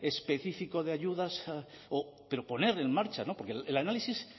específico de ayudas o pero ponerlo en marcha porque el análisis